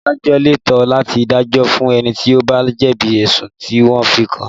Adájọ́ lẹ́tọ̀ọ́ láti dájọ́ fún ẹni tí ó bá jẹ̀bi ẹ̀sùn tí wọ́n fi kàn án